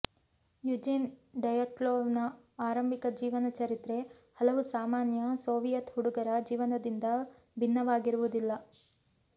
Eugene ಡಯಟ್ಲೊವ್ನ ಆರಂಭಿಕ ಜೀವನಚರಿತ್ರೆ ಹಲವು ಸಾಮಾನ್ಯ ಸೋವಿಯತ್ ಹುಡುಗರ ಜೀವನದಿಂದ ಭಿನ್ನವಾಗಿರುವುದಿಲ್ಲ